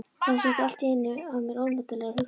Það sóttu allt í einu að mér ónotalegar hugsanir.